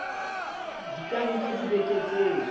di ka nka dibeke tse